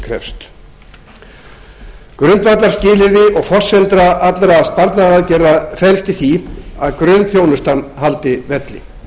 krefst grundvallarskilyrði og forsenda allra sparnaðaraðgerða felst í því að grunnþjónustan haldi velli